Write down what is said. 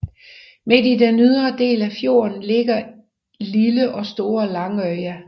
Midt i den ydre del af fjorden ligger lille og store Langøya